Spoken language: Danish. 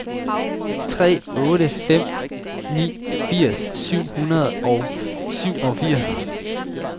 tre otte fem ni firs syv hundrede og syvogfirs